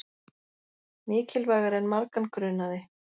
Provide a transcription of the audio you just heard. Mikilvægari en margan grunaði